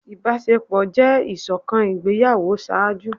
Ibaṣepọ jẹ iṣọkan igbeyawo ṣaaju.